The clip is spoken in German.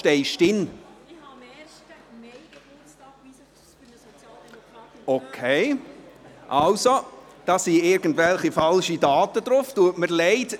Da sind also irgendwelche falschen Daten enthalten, tut mir leid.